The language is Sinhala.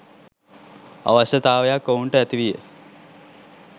අවශ්‍යතාවයක් ඔවුන්ට ඇති විය